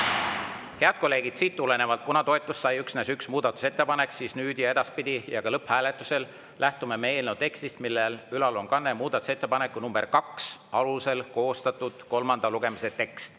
Head kolleegid, kuna toetust sai üksnes üks muudatusettepanek, siis nüüd ja edaspidi ja ka lõpphääletusel lähtume me eelnõu tekstist, mille ülanurgas on kanne "Muudatusettepaneku nr 2 alusel koostatud kolmanda lugemise tekst".